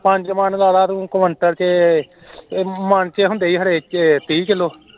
ਪੰਜ ਮੰਨ ਲਾ ਲੈ ਤੂੰ ਕੁਇੰਟਲ ਤੇ ਮੰਨ ਚ ਹੁੰਦੇ ਏ ਹਰੇਕ ਚ ਤਿਹ ਕਿਲੋ